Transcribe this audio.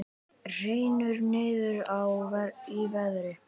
Hrynur niður í verði